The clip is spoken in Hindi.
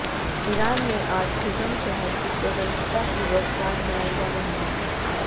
ईरान में आज ख़ुर्रमशहर की स्वतंत्रता की वर्षगांठ मनाई जा रही है